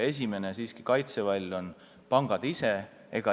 Esimene kaitsevall on pangad ise.